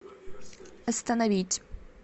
остановить